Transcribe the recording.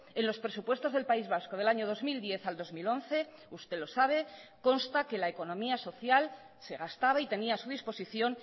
en los presupuestos del país vasco del año dos mil diez al dos mil once usted lo sabe consta que la economía social se gastaba y tenía a su disposición